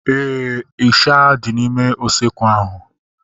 Éè, ịsha dị n'ime usekwu ahu